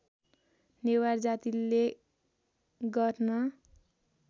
नेवार जातिले गर्न